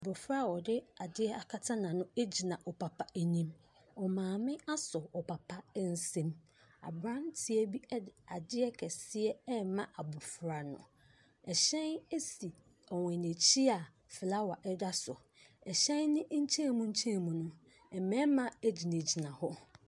Abɔfra a ɔde ade akata n’ano gyina ɔpapa anim. Ɔmaame asɔ ɔpapa nsam. Aberanteɛ bi de adeɛ kɛse ɛrema abɔfra no. Hyɛn si wɔn akyi a flower da so, hyɛn ne nkyɛn mu nkyɛn mu no, mmarima gyinagyina hɔ.